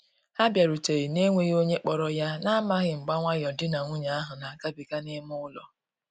Ha biarutere na-enweghi onye kporo ya, na amaghi mgba nwayo di na nwunye ahu na agabiga n'ime ụlọ.